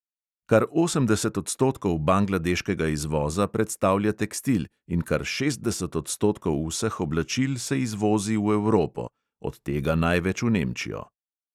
Kar osemdeset odstotkov bangladeškega izvoza predstavlja tekstil in kar šestdeset odstotkov vseh oblačil se izvozi v evropo, od tega največ v nemčijo.